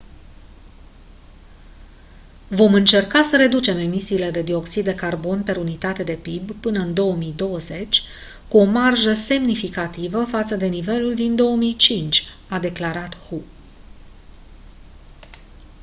vom încerca să reducem emisiile de dioxid de carbon per unitate de pib până în 2020 cu o marjă semnificativă față de nivelul din 2005 a declarat hu